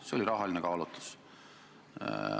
See oli rahaline kaalutlus.